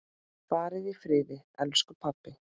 Far í friði, elsku pabbi!